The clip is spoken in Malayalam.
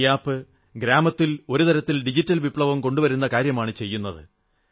ഈ ആപ് ഗ്രാമത്തിൽ ഒരുതരത്തിൽ ഡിജിറ്റൽ വിപ്ലവം കൊണ്ടുവരുന്ന കാര്യമാണു ചെയ്യുന്നത്